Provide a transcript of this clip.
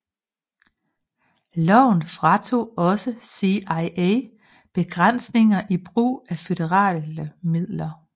Loven fratog også CIA begrænsninger i brug af føderale midler